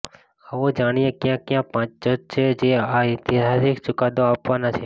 આવો જાણીએ કયા કયા પાંચ જજ છે જે આ ઐતિહાસિક ચુકાદો આપવાના છે